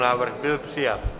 Návrh byl přijat.